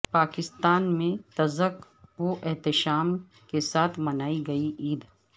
پاکستان میں تزک و احتشام کے ساتھ منائی گئی عید